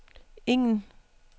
ingen